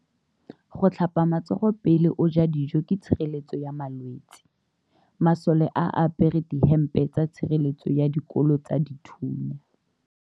Go tlhapa matsogo pele o ja dijo ke tshireletso ya malwetse. Masole a apere dihempe tsa tshireletso ya dikolo tsa dithunya.